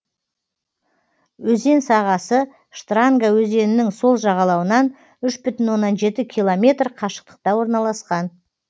өзен сағасы штранга өзенінің сол жағалауынан үш бүтін оннан жеті километр қашықтықта орналасқан